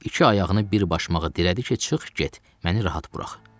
İki ayağını bir başmağa dirədi ki, çıx get, məni rahat burax.